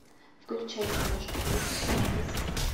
включай киношку в духе фентази